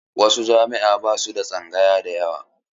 Wasu jami'an ba su da tsangaya da yawa.